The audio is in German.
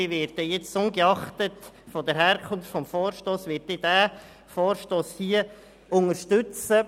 Ich werde diesen Vorstoss jetzt ungeachtet seiner Herkunft unterstützen.